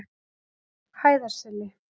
Hæðarseli